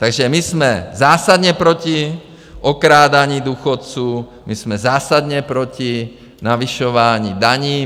Takže my jsme zásadně proti okrádání důchodců, my jsme zásadně proti navyšování daní.